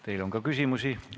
Teile on ka küsimusi.